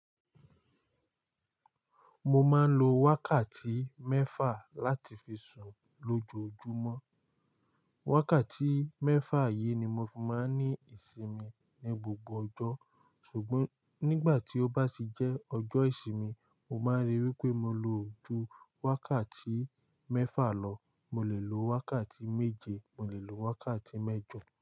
Mo máa ń lo wákàtí mẹ́fà láti fi sùn lójoojúmọ́. Wákàtí mẹ́fà yìí ni mo fi máa ń ní ìsinmi ní gbogbo ọjọ́. Ṣùgbọ́n nígbà tí ó bá ti jẹ́ ọjọ́ ìsinmi, o máa rí pé mo lo ju wákàtí mẹ́fà lọ. Mo lè lo wákàtí méje, mo lè lo wákàtí mẹ́jọ.